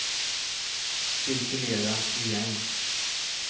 cirkulera igen